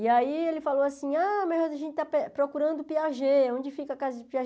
E aí ele falou assim, ah, mas a gente está procurando o Piaget, onde fica a casa de